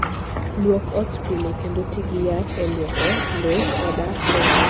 Lwok ot pile kendo ti gi yath e lwoko lowo koda kor ot.